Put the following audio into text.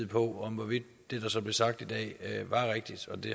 på hvorvidt det der så blev sagt i dag var rigtigt og det